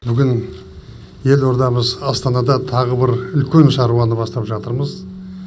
бүгін елордамыз астанада тағы бір үлкен шаруаны бастап жатырмыз